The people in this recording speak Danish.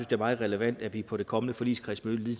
det er meget relevant at vi på det kommende forligskredsmøde lige